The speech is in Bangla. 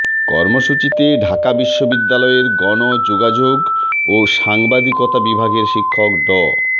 কর্মসূচিতে ঢাকা বিশ্ববিদ্যালয়ের গণযোগাযোগ ও সাংবাদিকতা বিভাগের শিক্ষক ড